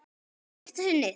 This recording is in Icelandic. Í fyrsta sinnið.